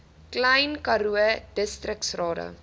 klein karoo distriksrade